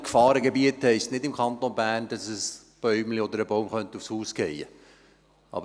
Gefahrengebiete heisst im Kanton Bern nicht, dass ein Bäumchen oder ein Baum auf das Haus fallen könnte.